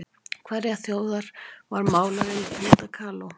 Hverrar þjóðar var málarinn Frida Kahlo?